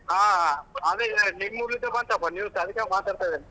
ಆ ಆಮೇಲೆ ನಿಮ್ಮೂರಿದ್ದ ಬಂತಪ್ಪ news ಅದಕ್ಕೆ ಮಾತಾಡ್ತಾ ಇದೇನ್.